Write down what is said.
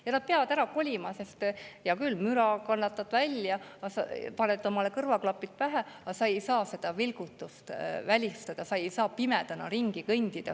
Ja nad peavad ära kolima, sest hea küll, müra kannatad välja, paned kõrvaklapid pähe, aga sa ei saa seda vilgutust välistada, sa ei saa pimedana ringi kõndida.